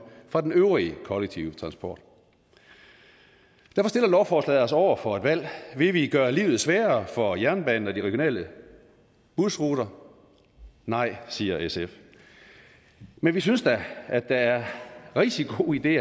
fra øvrig kollektive transport derfor stiller lovforslaget os altså over for et valg vil vi gøre livet sværere for jernbanen og de regionale busruter nej siger sf men vi synes da at der er rigtig god idé